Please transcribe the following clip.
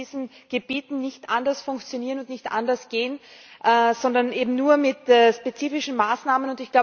Es wird in diesen Gebieten nicht anders funktionieren und nicht anders gehen, sondern eben nur mit spezifischen Maßnahmen.